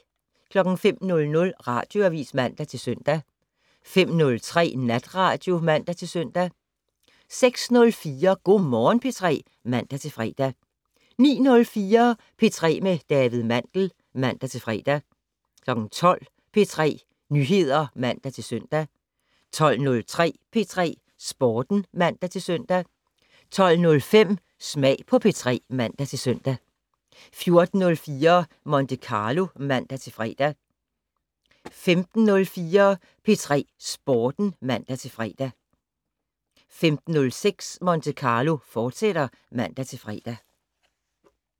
05:00: Radioavis (man-søn) 05:03: Natradio (man-søn) 06:04: Go' Morgen P3 (man-fre) 09:04: P3 med David Mandel (man-fre) 12:00: P3 Nyheder (man-søn) 12:03: P3 Sporten (man-søn) 12:05: Smag på P3 (man-søn) 14:04: Monte Carlo (man-fre) 15:04: P3 Sporten (man-fre) 15:06: Monte Carlo, fortsat (man-fre)